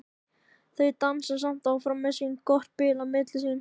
Þau dansa samt áfram með gott bil á milli sín.